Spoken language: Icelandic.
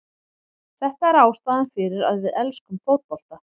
Þetta er ástæðan fyrir að við elskum fótbolta.